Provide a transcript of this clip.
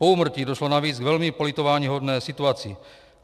Po úmrtí došlo navíc k velmi politováníhodné situaci.